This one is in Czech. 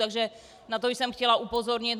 Takže na to jsem chtěla upozornit.